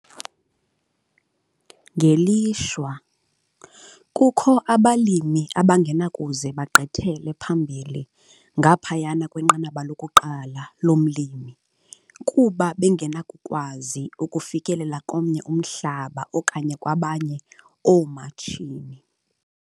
Ngelishwa, kukho abalimi abangenakuze bagqithele phambili ngaphayana kweNqanaba loku-1 lomlimi kuba bengenakukwazi ukufikelela komnye umhlaba okanye kwabanye oomatshini.